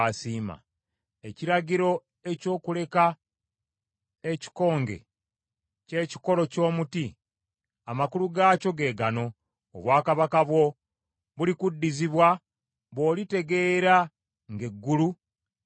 Ekiragiro eky’okuleka ekikonge ky’ekikolo ky’omuti, amakulu gaakyo ge gano: obwakabaka bwo bulikuddizibwa bw’olitegeera ng’eggulu lye lifuga.